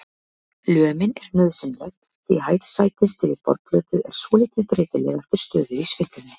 Lömin er nauðsynleg því hæð sætis yfir borðplötu er svolítið breytileg eftir stöðu í sveiflunni.